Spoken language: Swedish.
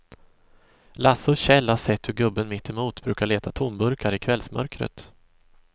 Lasse och Kjell har sett hur gubben mittemot brukar leta tomburkar i kvällsmörkret.